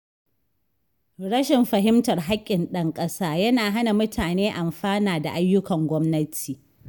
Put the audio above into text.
Rashin fahimtar haƙƙin ɗan ƙasa yana hana mutane amfana da ayyukan gwamnati.